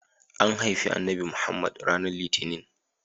An haifi Annabi Muhammad ranar litinin.